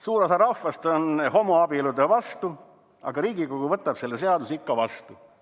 Suur osa rahvast on homoabielude vastu, aga Riigikogu võtab selle seaduse ikka vastu.